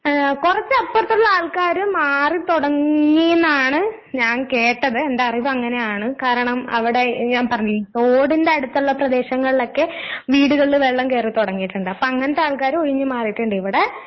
ആഹ് കൊറച്ചപ്പറത്തിള്ള ആൾക്കാര് മാറിത്തൊടങ്ങീന്നാണ് ഞാൻ കേട്ടത്. എന്ററിവങ്ങനെയാണ് കാരണം അവടെ ഞാൻ പറഞ്ഞില്ലേ തോടിന്റടുത്തൊള്ള പ്രദേശങ്ങളിലൊക്കെ വീടുകളില് വെള്ളം കേറിത്തൊടങ്ങീട്ട്ണ്ട്. അപ്പങ്ങനത്താൾക്കാര് ഒഴിഞ്ഞ് മാറീട്ട്ണ്ട്. ഇവടെ